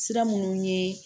Sira minnu ye